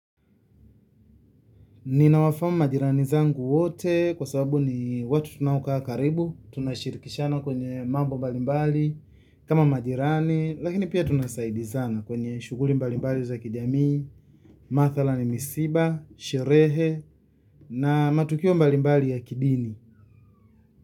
Ninawafahamu majirani zangu wote kwa sababu ni watu tunaokaa karibu, tunashirikishana kwenye mambo mbalimbali. Kama majirani, lakini pia tunasaidiana kwenye shughuli mbalimbali za kijamii, mathalani ni misiba, sherehe na matukio mbalimbali ya kidini.